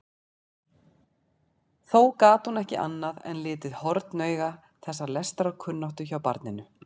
Þó gat hún ekki annað en litið hornauga þessa lestrarkunnáttu hjá barninu.